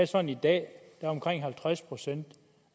sådan i dag at halvtreds procent